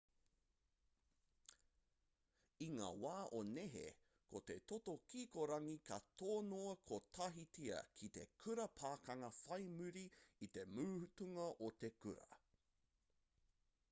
i ngā wā o nehe ko te toto kikorangi ka tonoa kotahitia ki te kura pakanga whai muri i te mutunga o te kura